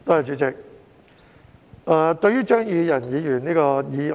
主席，我發言支持張宇人議員的議案。